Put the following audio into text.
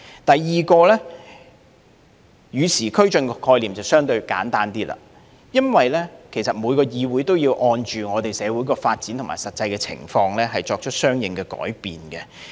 第二，與時俱進的概念便相對簡單，因為每個議會也要按照社會發展和實際情況作出相應改變。